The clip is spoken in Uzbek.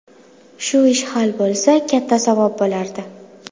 Shu ish hal bo‘lsa, katta savob bo‘lardi.